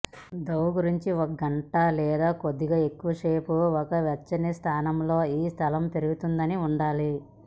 డౌ గురించి ఒక గంట లేదా కొద్దిగా ఎక్కువసేపు ఒక వెచ్చని స్థానంలో ఈ స్థలం పెరుగుతుందని ఉండాలి